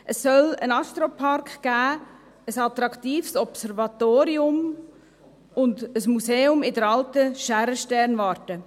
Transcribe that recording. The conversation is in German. Es soll einen Astropark geben, ein attraktives Observatorium und ein Museum in der alten Schaerer-Sternwarte.